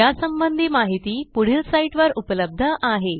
यासंबंधी माहिती पुढील साईटवर उपलब्ध आहे